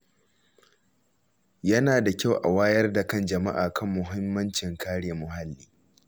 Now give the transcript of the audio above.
Yana da kyau a wayar da kan jama’a kan muhimmancin kare muhalli.